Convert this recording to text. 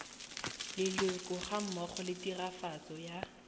leloko gammogo le tiragatso ya